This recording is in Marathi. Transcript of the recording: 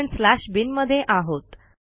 आपणslash बिन मध्ये आहोत